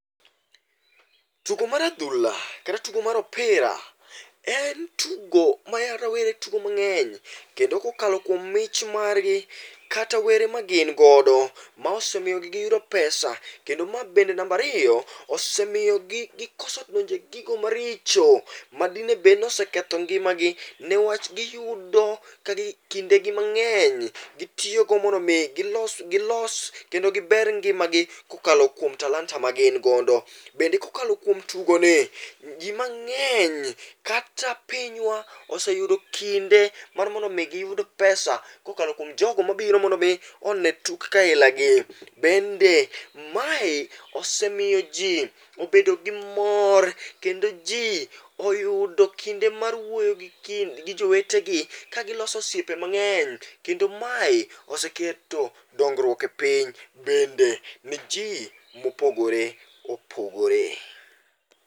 Tugo mar adhula kata tugo mar opira en tugo ma rawere tugo mang'eny kendo kokalo kuom mich margi kata were ma gin godo, ma osemiyogi giyudo pesa. Kendo ma bende namba ariyo, osemiyogi gikose donjo e gigo maricho ma dinebed noseketho ngimagi niwach giyudo kindegi mang'eny gitiyogo mondo omi gilos kendo giber ngimagi kokalo kuom talanta magin godo. Bende kokalo kuom tugo ni, ji mang'eny kata pinywa, oseyudo kinde mar mondo omi giyud pesa kokalo kuom jogo mabiro mondo omi one tuke ailagi, bende mae osemiyo ji obedo gi mor kendo ji oyudo kinde mar wuoyo gi jii, gi jowetegi kagiloso osiepe mang'eny kendo mae oseketo dongruok e piny bende ne ji mopogore opogore.